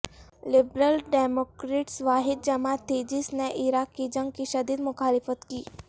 liberal Democrats واحد جماعت تھی جس نے عراق کی جنگ کی شدید مخالفت کی